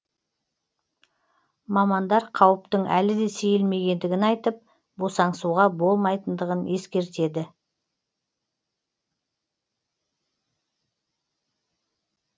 мамандар қауіптің әлі де сейілмегендігін айтып босаңсуға болмайтындығын ескертеді